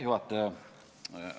Juhataja!